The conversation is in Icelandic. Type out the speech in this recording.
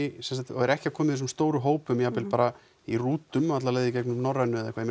og eru ekki að koma í þessum stóru hópum jafnvel bara í rútum alla leið í gegnum Norrænu eða eitthvað